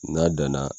N'a danna